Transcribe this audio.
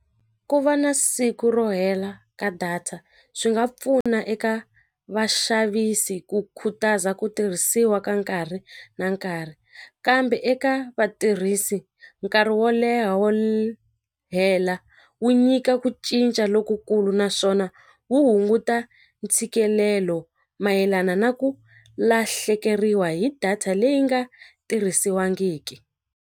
Ku va na siku ro hela ka data swi nga pfuna eka vaxavisi ku khutaza ku tirhisiwa ka nkarhi na nkarhi kambe eka vatirhisi nkarhi wo leha wo hela wu nyika ku cinca lokukulu naswona wu hunguta ntshikelelo mayelana na ku lahlekeriwa hi data leyi nga tirhisiwangiki.